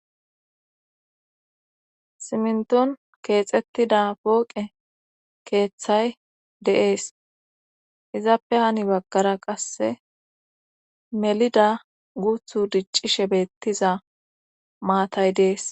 simnton keexettida pooqe keeththay de'es izappe hani baggara qasse melida guuthu diccishe beettiza maatay dees